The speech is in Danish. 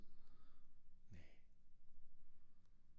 Næ